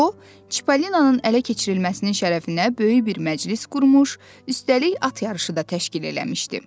O, Çipalinanın ələ keçirilməsinin şərəfinə böyük bir məclis qurmuş, üstəlik at yarışı da təşkil eləmişdi.